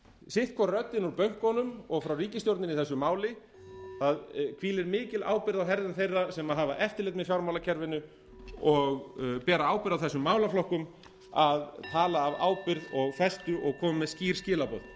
sitt hvor röddin úr bönkunum og frá ríkisstjórninni í þessu máli það hvílir mikil ábyrgð á herðum þeirra sem hafa eftirlit með fjármálakerfinu og bera ábyrgð á þessum málaflokkum að tala af ábyrgð og festu og koma með skýr skilaboð og